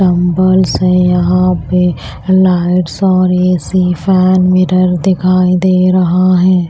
Dumbbells से यहां पे लाइट्स और ए_सी फैन मिरर दिखाई दे रहा है।